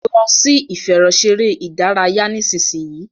lọ sì ìfẹ̀rọṣeré ìdárayá nísìsiyìí!